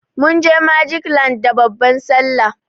Munje magic land da babban sallah.